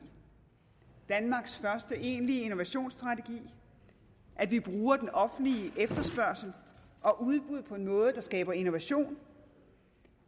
danmarks første egentlige innovationsstrategi at vi bruger offentlig efterspørgsel og udbud på noget der skaber innovation